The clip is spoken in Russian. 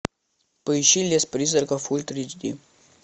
поищи лес призраков ультра эйч ди